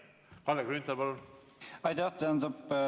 Kalle Grünthal, palun!